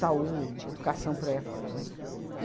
Saúde, educação por aí afora, né?